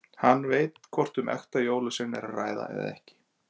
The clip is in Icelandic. Hann veit hvort um ekta jólasvein er að ræða eða ekki.